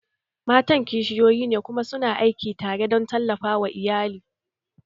Matan kishiyoyi ne kuma su na aiki tare don tallafa wa iyali